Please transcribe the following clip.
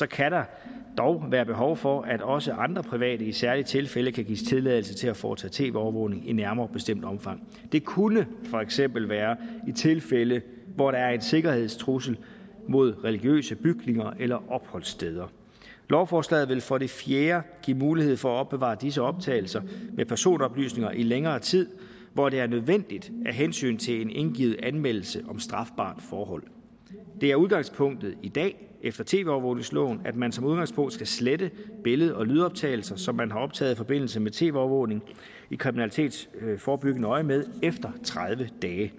kan der dog være behov for at også andre private i særlige tilfælde kan gives tilladelse til at foretage tv overvågning i nærmere bestemt omfang det kunne for eksempel være i tilfælde hvor der er en sikkerhedstrussel mod religiøse bygninger eller opholdssteder lovforslaget vil for det fjerde give mulighed for at opbevare disse optagelser med personoplysninger i længere tid hvor det er nødvendigt af hensyn til en indgivet anmeldelse om strafbart forhold det er udgangspunktet i dag efter tv overvågningsloven at man som udgangspunkt skal slette billede og lydoptagelser som man har optaget i forbindelse med tv overvågning i kriminalitetsforebyggende øjemed efter tredive dage